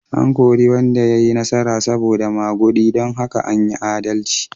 An kori wanda ya yi nasara saboda magudi don haka an yi adalci.